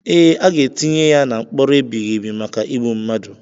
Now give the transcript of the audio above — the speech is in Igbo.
Ee, aga etinye ya na mkpọrọ ebighị ebi maka igbu mmadu.